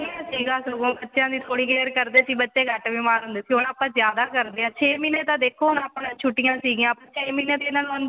ਪਹਿਲਾਂ ਸੀਗਾ ਸਗੋ ਬੱਚਿਆ ਦੀ ਥੋੜੀ care ਕਰਦੇ ਸੀ ਬੱਚੇ ਘੱਟ ਬੀਮਾਰ ਹੁੰਦੇ ਸੀ ਹੁਣ ਆਪਾ ਜਿਆਦਾ ਕਰਦੇ ਹਾ ਛੇ ਮਹੀਨੇ ਤਾ ਦੇਖੋ ਹੁਣ ਆਪਾ ਨੂੰ ਛੁੱਟੀਆ ਸੀਗੀਆਂ ਛੇ ਮਹੀਨੇ ਦੇ ਇਹਨਾ ਨੂੰ ਅੰਦਰੋ